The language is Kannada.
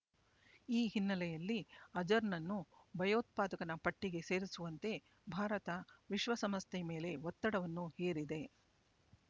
ಈ ಹಿನ್ನೆಲೆಯಲ್ಲಿ ಅಜರ್‌ನನ್ನು ಭಯೋತ್ಪಾದಕನ ಪಟ್ಟಿಗೆ ಸೇರಿಸುವಂತೆ ಭಾರತ ವಿಶ್ವಸಂಸ್ಥೆ ಮೇಲೆ ಒತ್ತಡವನ್ನು ಹೇರಿದೆ